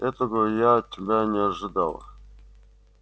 этого я от тебя не ожидала